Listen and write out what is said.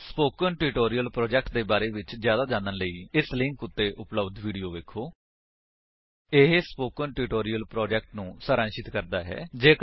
spoken tutorial project ਦੇ ਬਾਰੇ ਵਿੱਚ ਜਿਆਦਾ ਜਾਣਨ ਲਈ ਇਸ ਲਿੰਕ ਉੱਤੇ ਉਪਲੱਬਧ ਵੀਡੀਓ ਵੇਖੋ http spoken tutorial org What is a Spoken Tutorial ਇਹ ਸਪੋਕਨ ਟਿਊਟੋਰਿਅਲ ਪ੍ਰੋਜੇਕਟ ਨੂੰ ਸਾਰਾਂਸ਼ਿਤ ਕਰਦਾ ਹੈ